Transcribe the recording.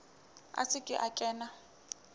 a se ke a kena